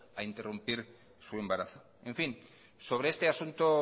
a interrumpir su embarazo en fin sobre este asunto